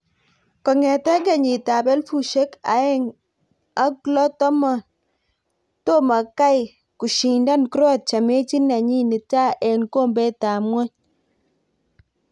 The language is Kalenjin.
kongete kenyit ab elfushiek aendg ak loo tomo kai kushindan croatia mechit nenyin nitaa en kombet ab ngowny